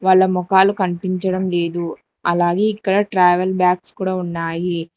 వాళ్ళ మొఖాలు కనిపించడం లేదు అలాగే ఇక్కడ ట్రావెల్ బ్యాగ్స్ కూడా ఉన్నాయి.